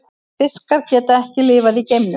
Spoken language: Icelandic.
Fiskar geta ekki lifað í geimnum.